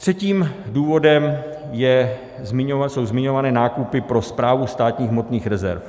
Třetím důvodem jsou zmiňované nákupy pro Správu státních hmotných rezerv.